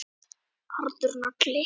Harður nagli.